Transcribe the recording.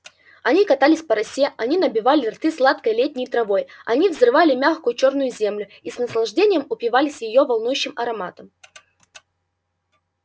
они катались по росе они набивали рты сладкой летней травой они взрывали мягкую чёрную землю и с наслаждением упивались её волнующим ароматом